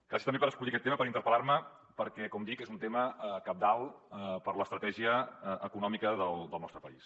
gràcies també per escollir aquest tema per interpel·lar me perquè com dic és un tema cabdal per a l’estratègia econòmica del nostre país